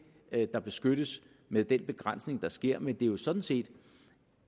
er det der beskyttes med den begrænsning der sker men det er sådan set